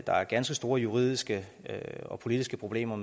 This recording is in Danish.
der er ganske store juridiske og politiske problemer